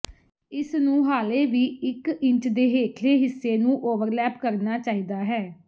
ਇਸ ਨੂੰ ਹਾਲੇ ਵੀ ਇਕ ਇੰਚ ਦੇ ਹੇਠਲੇ ਹਿੱਸੇ ਨੂੰ ਓਵਰਲੈਪ ਕਰਨਾ ਚਾਹੀਦਾ ਹੈ